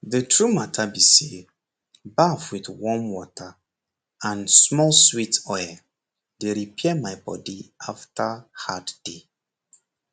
the true matter b say baff with warm water and small sweet oil dey repair my body after hard day